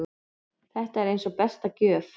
Þetta var eins og besta gjöf.